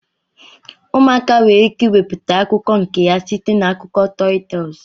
Ụmụaka nwere ike iweputa akụkọ nke ha site na akụkọ tọl tel.